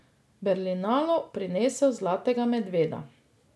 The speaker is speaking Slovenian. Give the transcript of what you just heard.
Berlinalu prinesel zlatega medveda.